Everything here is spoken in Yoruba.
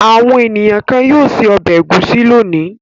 Àwọn ènìyàn kan yóò se ọbẹ̀ ẹ̀gúsí lónìí.